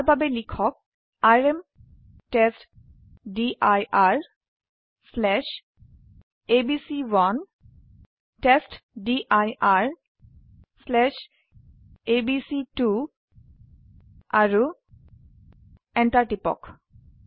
ইয়াৰ বাবে লিখক আৰএম testdirএবিচি1 testdirএবিচি2 আৰু এন্টাৰ টিপক